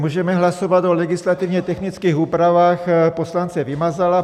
Můžeme hlasovat o legislativně technických úpravách poslance Vymazala.